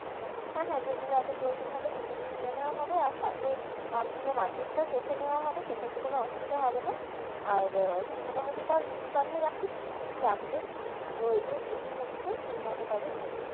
হ্যাঁ হ্যাঁ যেগুলো আগে প্রয়োজনীয় হবে সেগুলোই নিয়ে নেওয়া হবে আর সাথে আহ পুরো market টা চসে নেওয়া হবে সেক্ষেত্রে কোনো অসুবিধা হবে না আর তুই মোটামটি তাও list বানিয়ে রাখিস কী কী লাগবে কী কী প্রয়োজন এই মুহূর্তে সেই মতো তাহলে নিয়ে নেবো।